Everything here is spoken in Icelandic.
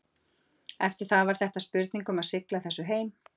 Eftir það var þetta spurning um að sigla þessu heim.